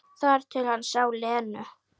Þar til hann sá Lenu.